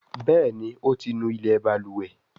Béèni o tí ńú ilé balùwẹ̀.